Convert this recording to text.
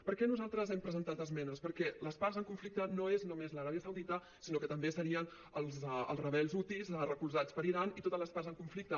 per què nosaltres hem presentat esmenes perquè les parts en conflicte no és només l’aràbia saudita sinó que també serien els rebels houthis recolzats per iran i totes les parts en conflicte